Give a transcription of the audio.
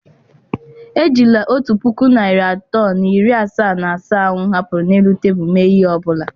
Ejila otu puku naịra atọ na iri asaa na asaa ahụ m hapụrụ n'elu tebụl mee ihe ọbula.